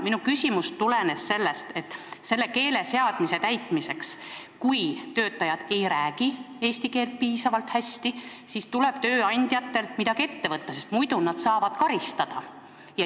Minu küsimus tulenes sellest, et kui töötajad ei räägi eesti keelt piisavalt hästi, siis tuleb tööandjatel midagi ette võtta, muidu nad saavad karistada.